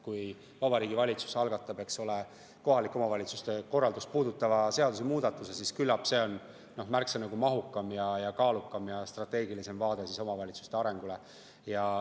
Kui Vabariigi Valitsus algatab kohalike omavalitsuste korraldust puudutava seaduse muudatuse, siis küllap see on märksa mahukam, kaalukam ja strateegilisem vaade omavalitsuste arengule.